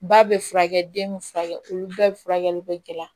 Ba bɛ furakɛ den bɛ furakɛ olu bɛɛ bɛ furakɛli bɛ gɛlɛya